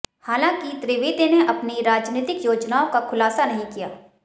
हालांकि त्रिवेदी ने अपनी राजनीतिक योजनाओं का खुलासा नहीं किया